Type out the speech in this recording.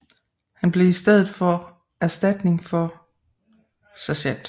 Han blev i stedet for erstatning for Sgt